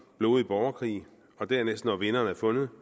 blodig borgerkrig og dernæst når vinderen er fundet